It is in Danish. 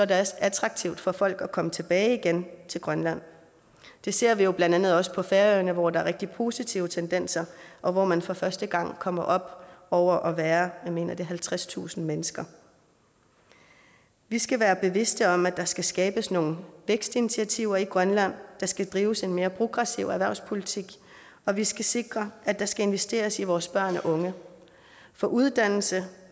det også attraktivt for folk at komme tilbage igen til grønland det ser vi jo blandt andet også på færøerne hvor der er rigtig positive tendenser og hvor man for første gang kommer op over at være jeg mener at det er halvtredstusind mennesker vi skal være bevidste om at der skal skabes nogle vækstinitiativer i grønland der skal drives en mere progressiv erhvervspolitik og vi skal sikre at der skal investeres i vores børn og unge for uddannelse